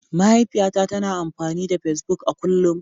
Mahaifiyata tana amfani da Facebook a kullum